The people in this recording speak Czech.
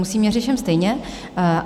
Musím všem měřit stejně.